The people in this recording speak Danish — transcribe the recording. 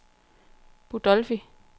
Budolfi